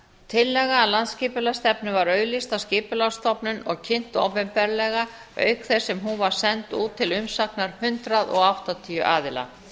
tillaga að landsskipulagsstefnu var auglýst af skipulagsstofnun og kynnt opinberlega auk þess sem hún var send út til umsagnar hundrað áttatíu aðila